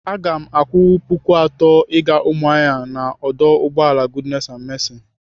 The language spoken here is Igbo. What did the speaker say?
Aga m akwụ puku atọ ịga Umuahia n'ọdụ ụgbọala goodness and mercy.